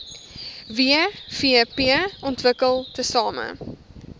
wvp ontwikkel tesame